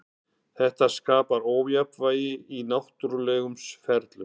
Þetta skapar ójafnvægi í náttúrulegum ferlum.